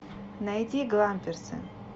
найти гламперсы